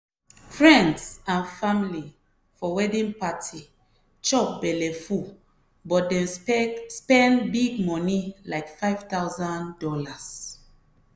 friends and family for wedding party chop belleful but dem spend big moni like five thousand dollars.